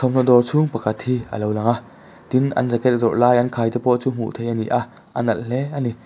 thawmhnaw dawr chhung pakhat hi a lo lang a tin an jacket zawrh lai an khai te pawh chu hmuh theih a ni a a nalh hle a ni.